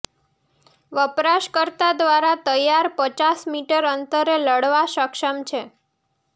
વપરાશકર્તા દ્વારા તૈયાર પચાસ મીટર અંતરે લડવા સક્ષમ છે